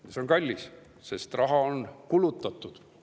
See on kallis, sest raha on kulutatud.